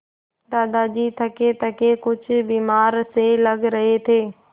दादाजी थकेथके कुछ बीमार से लग रहे थे